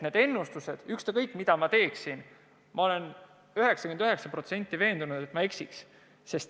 Need ennustused, ükskõik mida ma ütleksin – ma olen 99% veendunud, et ma eksiks.